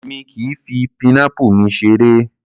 Èmi kìí fi pineapple mi seré.